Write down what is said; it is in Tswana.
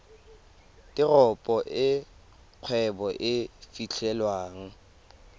teropo e kgwebo e fitlhelwang